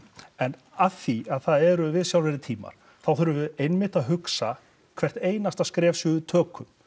en af því að það eru viðsjárverðir tímar þá þurfum við einmitt að hugsa hvert skref sem við tökum